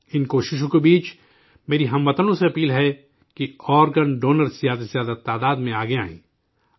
ان کوششوں کے درمیان، میری ہم وطنوں سے اپیل ہے کہ آرگن ڈونر زیادہ سے زیادہ تعداد میں آگے آئیں